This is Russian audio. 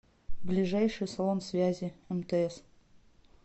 ближайший салон связи мтс